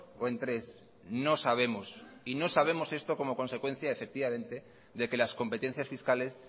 o en tres no sabemos y no sabemos esto como consecuencia de que las competencias fiscales